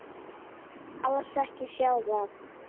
Alls ekki sjóða.